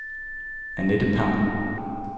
Annette Pham